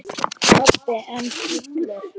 Pabbi enn fullur.